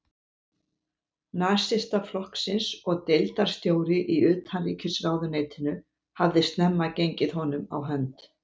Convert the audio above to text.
Nasistaflokksins og deildarstjóri í utanríkisráðuneytinu, hafði snemma gengið honum á hönd.